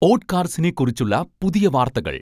ഓട്ട്കാർസിനെ കുറിച്ചുള്ള പുതിയ വാർത്തകൾ